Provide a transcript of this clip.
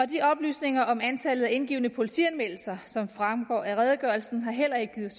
de oplysninger om antallet af indgivne politianmeldelser som fremgår af redegørelsen har heller ikke givet